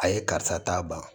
A ye karisa ta ban